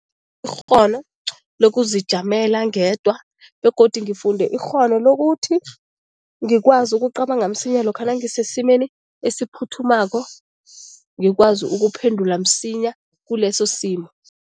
Ikghono lokuzijamela ngedwa begodu ngifunde ikghono lokuthi ngikwazi ukucabanga msinya lokha nangisesimeni esiphuthumako, ngikwazi ukuphendula msinya kuleso simo.